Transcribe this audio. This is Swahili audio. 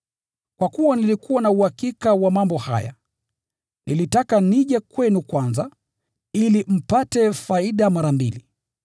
Kwa kuwa nilikuwa na uhakika wa mambo haya, nilitaka nije kwenu kwanza, ili mpate faida mara mbili.